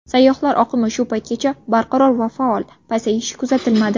Sayyohlar oqimi shu paytgacha barqaror va faol, pasayish kuzatilmadi.